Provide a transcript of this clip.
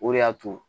O de y'a to